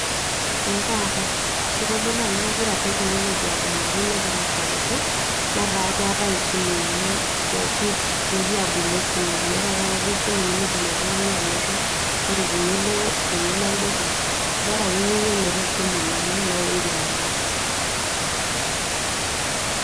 ee kaata kitodolu ajo kegira technology aponari negira asapuku netaa keetae isimui pooki, pooki aabila esimu meeta taata esimu nimidim oltung'ani anoto ore tenilo, tenilo olduka bora akeyie iyie metaa esimu niyieu naindim anoto.